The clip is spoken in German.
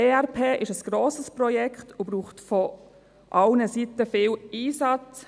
ERP ist ein grosses Projekt und braucht von allen Seiten viel Einsatz.